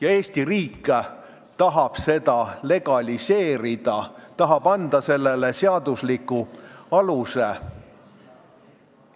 Aga Eesti riik tahab seda legaliseerida, tahab anda sellele seadusliku aluse.